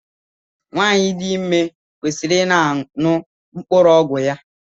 Nwanyi dị ime kwesịrị I na aṅụ mkpụrụ ọgwụ ya.